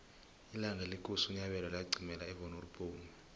ilanga lekosi unyabela laqimela evonoribnomu